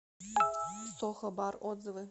сохо бар отзывы